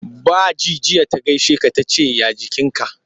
Ba ji jiya ta gaishe ka ta ce ya jikinka.